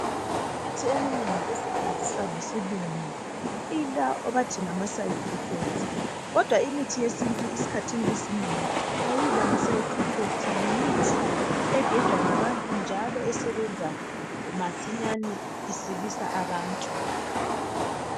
Imithi eminengi esetshenziswa ngesilungu ilalokhu okuthiwa ngama side effects kodwa imithi yesintu esikhathini esinengi ayilawo. Yimithi egejwa ngabantu njalo esebenza masinyane isilisa abantu.